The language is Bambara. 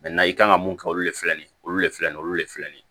i kan ka mun kɛ olu de filɛ nin ye olu le filɛ nin ye olu le filɛ nin ye